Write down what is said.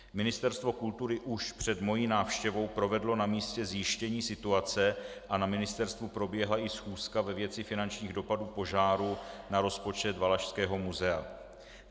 Ministerstvo kultury už před mou návštěvou provedlo na místě zjištění situace a na ministerstvu proběhla i schůzka ve věci finančních dopadů požáru na rozpočet Valašského muzea.